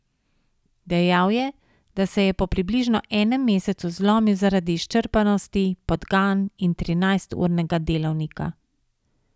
Dejal je, da se je po približno enem mesecu zlomil zaradi izčrpanosti, podgan in trinajsturnega delovnika.